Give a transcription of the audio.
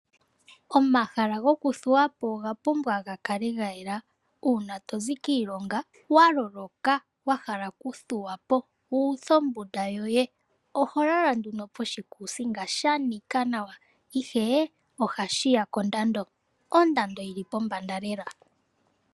Omahala goku thuwapo oga pumbwa ga kale gayela .Uuna tozi kiilonga wa loloka wa hala okuthuwapo wu uthe ombunda yoye oho lala nduno poshikuusinga shanika nawa ihe ohashiya kondando. Ondando yili pombanda lela.